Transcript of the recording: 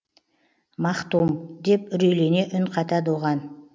махтум деп үрейлене үн қатады оған